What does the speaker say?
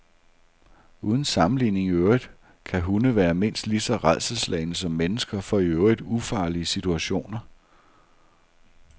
Uden sammenligning i øvrigt kan hunde være mindst lige så rædselsslagne som mennesker for i øvrigt ufarlige situationer.